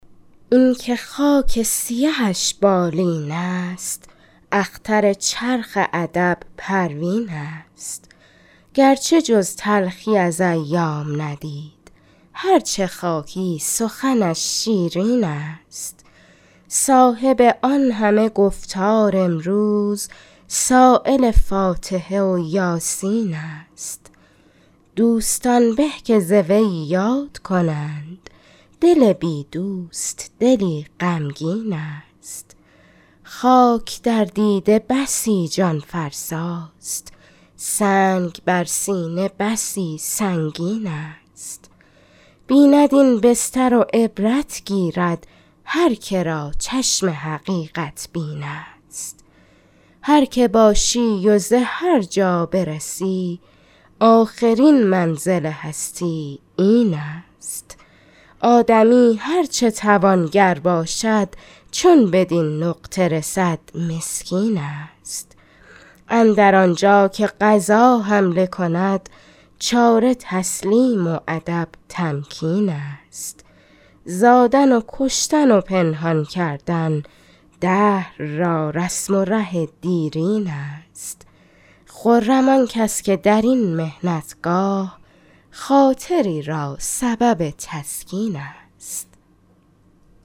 اینکه خاک سیهش بالین است اختر چرخ ادب پروین است گرچه جز تلخی از ایام ندید هر چه خواهی سخنش شیرین است صاحب آن همه گفتار امروز سایل فاتحه و یاسین است دوستان به که ز وی یاد کنند دل بی دوست دلی غمگین است خاک در دیده بسی جان فرسا ست سنگ بر سینه بسی سنگین است بیند این بستر و عبرت گیرد هر که را چشم حقیقت بین است هر که باشی و به هر جا برسی آخرین منزل هستی این است آدمی هر چه توانگر باشد چو بدین نقطه رسد مسکین است اندر آنجا که قضا حمله کند چاره تسلیم و ادب تمکین است زادن و کشتن و پنهان کردن دهر را رسم و ره دیرین است خرم آن کس که در این محنت گاه خاطری را سبب تسکین است